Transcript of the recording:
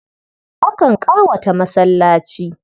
Akan ƙawata masallaci.